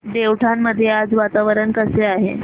देवठाण मध्ये आज वातावरण कसे आहे